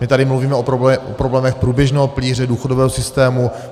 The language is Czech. My tady mluvíme o problémech průběžného pilíře důchodového systému.